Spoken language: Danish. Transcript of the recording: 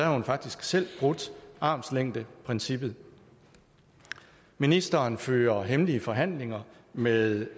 hun faktisk selv brudt armslængdeprincippet ministeren fører hemmelige forhandlinger med